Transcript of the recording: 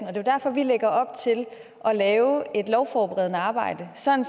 er jo derfor vi lægger op til at lave et lovforberedende arbejde sådan